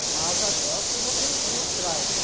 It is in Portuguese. É uma asa delta e um motorzinho atrás.